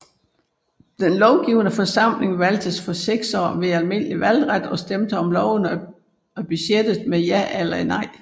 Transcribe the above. Den lovgivende forsamling valgtes for seks år ved almindelig valgret og stemte om lovene og budgettet med ja eller nej